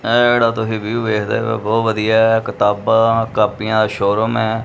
ਇਹ ਜਿਹੜਾ ਤੁਸੀਂ ਵਿਊ ਵੇਖਦੇ ਪਏ ਹੋ ਬਹੁਤ ਵਧੀਆ ਹੈ ਕਿਤਾਬਾਂ ਕਾਪੀਆਂ ਦਾ ਸ਼ੋਰੂਮ ਹੈ।